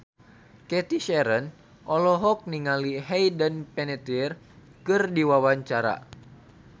Cathy Sharon olohok ningali Hayden Panettiere keur diwawancara